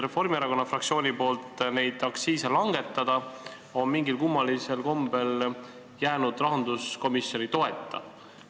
Reformierakonna fraktsiooni ettepanek neid aktsiise langetada on mingil kummalisel kombel jäänud rahanduskomisjoni toeta.